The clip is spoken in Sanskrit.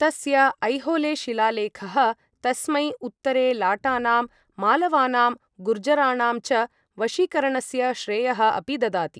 तस्य ऐहोलेशिलालेखः तस्मै, उत्तरे लाटानां, मालवानां, गुर्जराणां च वशीकरणस्य श्रेयः अपि ददाति।